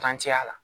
la